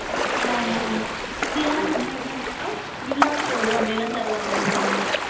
ஆமா ஆமா மிந்தியெல்லாம் நம்மயிருக்க நேரம் நிலா சோறு அப்படியெல்லாம் தருவாங்க நம்ம அம்மா